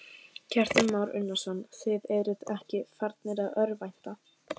Kristján Már Unnarsson: Þið eruð ekki farnir að örvænta?